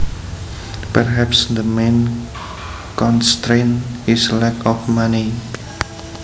Perhaps the main constraint is lack of money